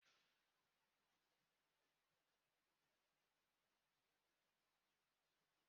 Ụmụ akwụkwọ ibe ya chịrị ya ọchị mgbe o kwuru na aha ya bụ Ọsọndụ